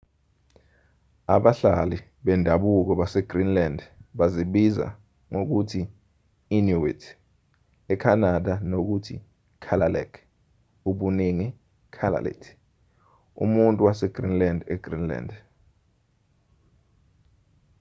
abahlali bendabuko basegreenland bazibiza ngokuthi inuit ecanada nokuthi kalaalleq ubuningi kalaallit umuntu wasegreenland egreenland